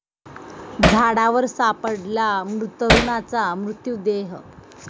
झाडावर सापडला तरुणाचा मृतदेह